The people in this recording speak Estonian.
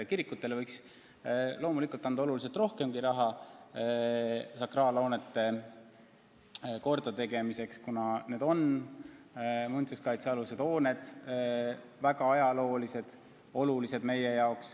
Kirikutele võiks loomulikult anda märksa rohkemgi raha sakraalhoonete kordategemiseks, kuna need on ajaloolised muinsuskaitse all olevad hooned, mis on meie jaoks olulised.